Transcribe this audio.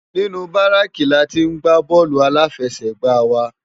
Ninú báráki látì n gbá bòlú áláfèsègbá wá